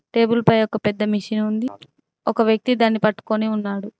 Table పై ఒక పెద్ద మిషిన్ ఉంది. ఒక వ్యక్తి దాన్ని పట్టుకొని ఉన్నాడు.